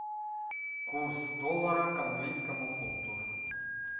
курс доллара к английскому фунту